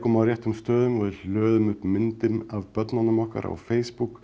á réttum stöðum og við hlöðum upp myndum af börnunum okkar á Facebook